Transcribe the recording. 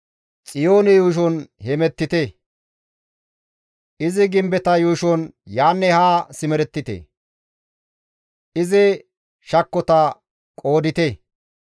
Xiyoone yuushon hemettite; izi gimbeta yuushon yaanne haa simerettite; izi shakkota qoodite.